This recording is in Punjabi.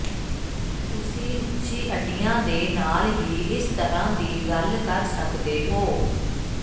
ਤੁਸੀਂ ਉੱਚੀ ਅੱਡੀਆਂ ਦੇ ਨਾਲ ਹੀ ਇਸ ਤਰ੍ਹਾਂ ਦੀ ਗੱਲ ਕਰ ਸਕਦੇ ਹੋ